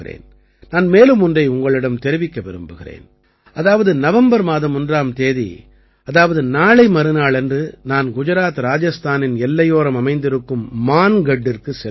நான் மேலும் ஒன்றை உங்களிடம் தெரிவிக்க விரும்புகிறேன் அதாவது நவம்பர் மாதம் ஒன்றாம் தேதி அதாவது நாளை மறுநாளன்று நான் குஜராத்இராஜஸ்தானின் எல்லையோரம் அமைந்திருக்கும் மான்கட்டிற்குச் செல்கிறேன்